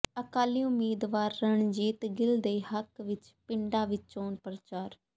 ਅਕਾਲੀ ਉਮੀਦਵਾਰ ਰਣਜੀਤ ਗਿੱਲ ਦੇ ਹੱਕ ਵਿੱਚ ਪਿੰਡਾਂ ਵਿੱਚ ਚੋਣ ਪ੍ਰਚਾਰ